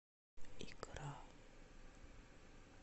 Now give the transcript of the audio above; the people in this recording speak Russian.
икра